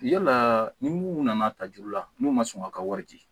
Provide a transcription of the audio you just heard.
Yala ni mun nana ta juru la n'o ma sɔn ka ka wari di